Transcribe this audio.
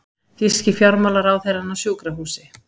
Þýski fjármálaráðherrann á sjúkrahúsi